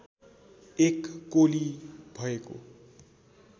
एक कोलि भएको